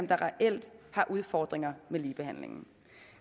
der reelt har udfordringer med ligebehandlingen